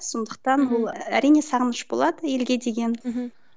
сондықтан бұл әрине сағыныш болады елге деген мхм